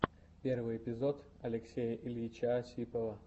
первый эпизод алексея ильича осипова